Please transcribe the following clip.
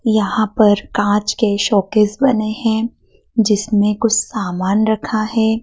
यहां पर कांच के शोकेस बने हैं जिसमें कुछ सामान रखा है।